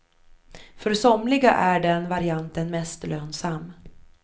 För somliga är den varianten mest lönsam.